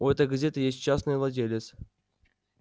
у этой газеты есть частный владелец